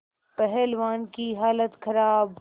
पहलवान की हालत खराब